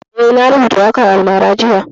Eh, na rubuta waƙan almara jiya